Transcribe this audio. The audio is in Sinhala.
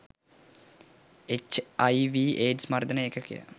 එච් අයි වී ඒඩ්ස් මර්දන ඒකකය